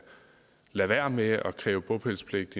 lade være med at kræve bopælspligt